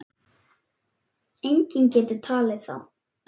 Enginn getur talið þá.